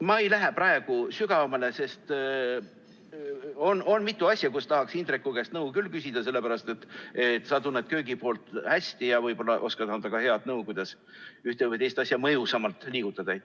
Ma ei lähe praegu sügavamale, sest on mitu asja, kus tahaks Indreku käest nõu küll küsida, sellepärast et sa tunned köögipoolt hästi ja võib-olla oskad anda ka väga head nõu, kuidas ühte või teist asja mõjusamalt liigutada.